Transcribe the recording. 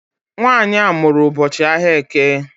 Nwaanyị a mụrụ n'ụbọchị ahịa Eke